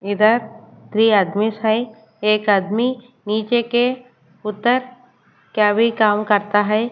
इधर त्रिय आदमी है। एक आदमी नीचे के उत्तर केवी काम करता है।